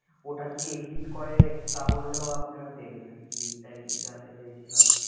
ওটা যদি exit করে তাহলেও আপনারা দেবেন আর কি এইটাই জানতে চাইছিলাম।